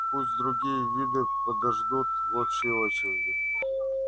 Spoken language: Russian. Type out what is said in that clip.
пусть другие виды подождут в общей очереди